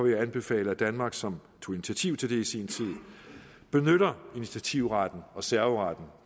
jeg anbefale at danmark som tog initiativ til det i sin tid benytter initiativretten og serveretten